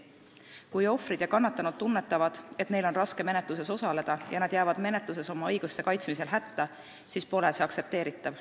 Kui ohvrid ja kannatanud tunnetavad, et neil on raske menetluses osaleda, ja nad jäävad menetluses oma õiguste kaitsmisel hätta, siis pole see aktsepteeritav.